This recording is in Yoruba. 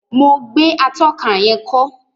Mo gbé atóka yén kó